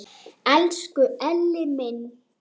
Elsku Elli minn!